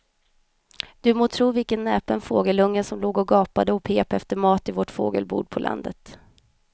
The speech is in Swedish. Du må tro vilken näpen fågelunge som låg och gapade och pep efter mat i vårt fågelbo på landet.